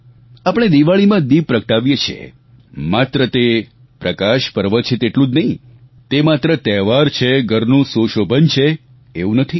આપણે દિવાળીમાં દિપ પ્રગટાવીએ છીએ માત્ર તે પ્રકાશ પર્વ છે તેટલું જ નહીં તે માત્ર તહેવાર છે ઘરનું સુશોભન છે એવું નથી